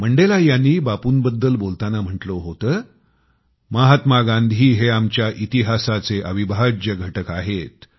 मंडेला यांनी बापूंबद्दल बोलताना म्हटले होते महात्मा गांधी हे आमच्या इतिहासाचे अविभाज्य घटक आहेत